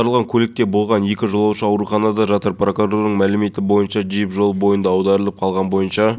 болды салафиттер екі қару-жарақ дүкені мен ұлттық гвардиясының әскери бөліміне шабуыл жасаған болатын нәтижесінде жеті